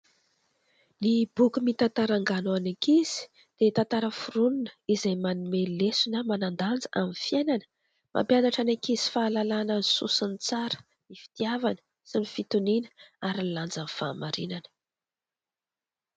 Ny boky mitantara angano ho an'ny ankizy dia tantara foronina izay manome lesona manan-danja amin'ny fiainana, mampianatra ny ankizy fahalalana ny soa sy ny tsara, ny fitiavana sy ny fitoniana ary ny lanjan'ny fahamarinana.